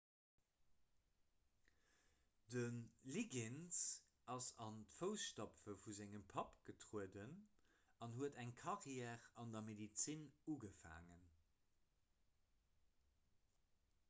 de liggins ass an d'foussstapfe vu sengem papp getrueden an huet eng karriär an der medezin ugefaangen